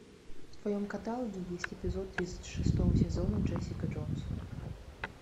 в твоем каталоге есть эпизод тридцать шестого сезона джессика джонс